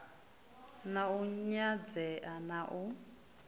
na u nyadzea na u